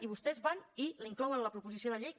i vostès van i l’inclouen en la proposició de llei